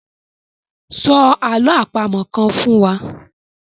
Sọ àlọ́ àpamọ̀ kan fún wa.